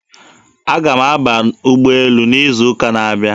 Aga m aba ụgbọelu n'izuụka na-abịa.